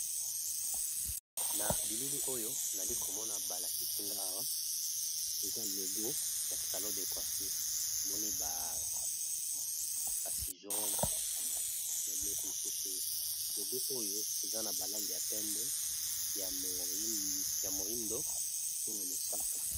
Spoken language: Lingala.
Na bilili oyo nali ko mona ba lakisi nga eza logo ya salon de coiffure, na moni ba sizeau, na biloko mosusu, logo oyo eza na ba langi ya pembe ya moyindo pe na mosaka .